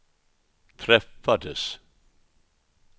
träffades